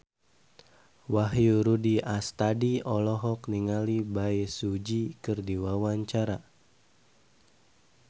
Wahyu Rudi Astadi olohok ningali Bae Su Ji keur diwawancara